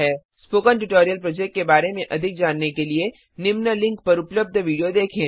spoken tutorial project के बारे में अधिक जानने के लिए निम्नलिखित लिंक पर पर उपलब्ध वीडियो देखें